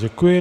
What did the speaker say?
Děkuji.